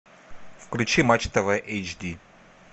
включи матч тв эйчди